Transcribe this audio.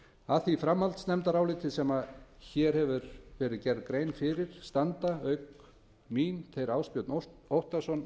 að því framhaldsnefndaráliti sem hér með hefur verið gerð grein fyrir standa auk mín þeir ásbjörn óttarsson